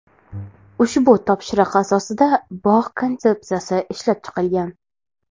Ushbu topshiriq asosida bog‘ konsepsiyasi ishlab chiqilgan.